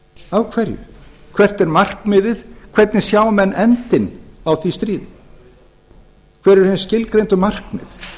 af hverju hvert er markmiðið hvernig sjá enn endinn á því stríði hver eru hin skilgreindu markmið það